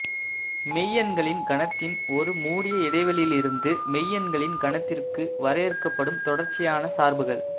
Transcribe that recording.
மெய்யெண்களின் கணத்தின் ஒரு மூடிய இடைவெளியிலிருந்து மெய்யெண்களின் கணத்திற்கு வரையறுக்கப்படும் தொடர்ச்சியான சார்புகள்